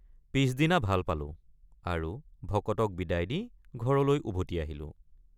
পিচদিনা ভাল পালোঁ আৰু ভকতক বিদায় দি ঘৰলৈ উভতি আহিলোঁ।